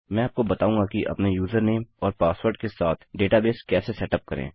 मैं आपको बताऊँगा कि अपने यूजरनेम और पासवर्ड के साथ डेटाबेस कैसे सेटअप करें